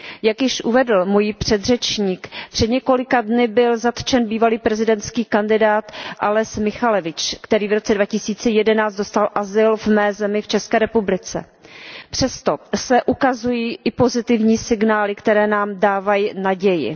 Jak již uvedl můj předřečník, před několika dny byl zatčen bývalý prezidentský kandidát Aleś Mihaljevič, který v roce 2011 dostal azyl v mé zemi, v České republice. Přesto se ukazují i pozitivní signály, které nám dávají naději.